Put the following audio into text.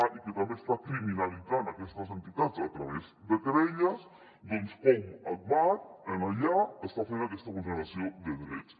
i que també està criminalitzant aquestes entitats a través de querelles doncs com agbar allà està fent aquesta vulneració de drets